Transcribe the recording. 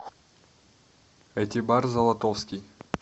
этибар золотовский